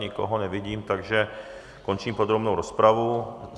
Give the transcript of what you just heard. Nikoho nevidím, takže končím podrobnou rozpravu.